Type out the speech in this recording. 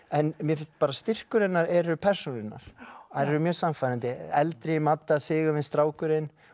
en mér finnst styrkur hennar eru persónurnar þær eru mjög sannfærandi eldri Sigurvin strákurinn